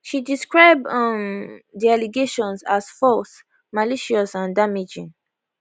she describe um di allegations as false malicious and damaging